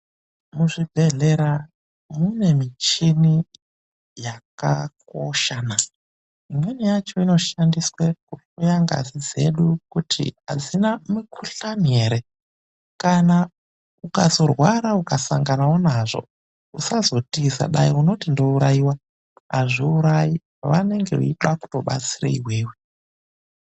Muzvibhedhlera mune michini yakakosha naa imweni yacho inoshandiswa kuhloya ngazi dzedu kuti adzina mukuhlani here, kana ukazorwara ukasangana nawo nazvo usazotiza dai unoti ndourayiwa ,azviurayi vanenge vachida kuzobatsira iwewe.